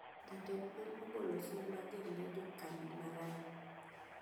Jatend piny ogolo siem mager ne jo kambi ma Rai